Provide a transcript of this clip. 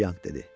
Çianq dedi.